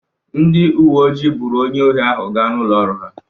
Ndị uwe ojii buuru onye ohi ahụ gaa n'ụlọ ọrụ ha.